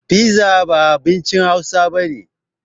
Fiza ba abincin hausa bane